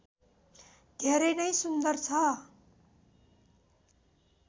धेरै नै सुन्दर छ